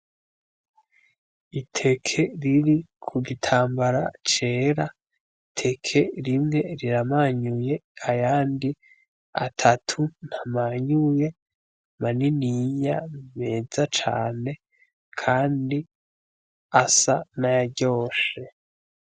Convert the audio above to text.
Iteke riri ku gitambara cera, iteke rimwe riramanyuye ayandi atatu ntamanyuye, maniniya meza cane kandi asa n'ayaryoshe.